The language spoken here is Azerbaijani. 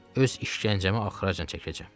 Öz işgəncəmi axıracan çəkəcəm.